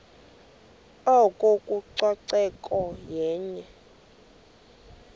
oko ucoceko yenye